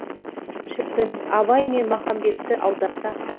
шіркін абай мен махамбетті аударсақ